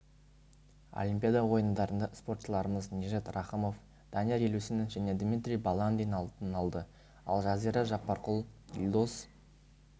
олимпиада ойындарында спортшыларымыз нижат рахымов данияр елеусінов және дмитрий баландин алтын алды ал жазира жаппарқұл елдос